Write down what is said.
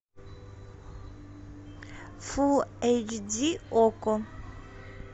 фул эйч ди окко